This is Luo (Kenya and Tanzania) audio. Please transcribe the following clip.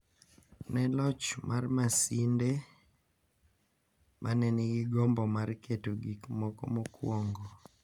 Ne loch mar Masinde, mane nigi gombo mar keto gik moko mokuongo